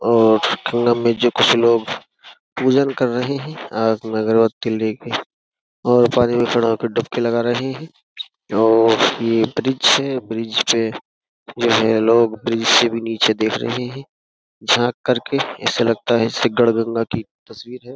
और संगम में जो कुछ लोग पूजन कर रहे हैं हाथ में अगरबत्ति लेके और पानी में चढ़ो के डपके लगा रहे हैं और ये ब्रिज है ब्रिज पे जो है लोग ब्रिज से भी नीचे देख रहे हैं झांक करके ऐसा लगता है इससे गड़गंगा की तस्वीर हैं।